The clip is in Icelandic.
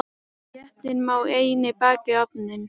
Réttinn má einnig baka í ofni.